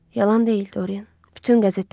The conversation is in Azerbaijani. Yalan deyil Dorian, bütün qəzetlər yazıb.